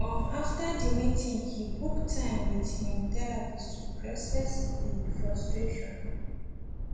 um after the meeting he book time with him therapist to process the frustration